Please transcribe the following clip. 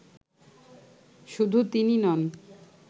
শুধু তিনিই নন